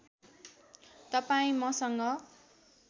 तपाईँ मसँग